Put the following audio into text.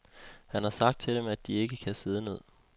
Han har sagt til dem, at de ikke kan sidde ned.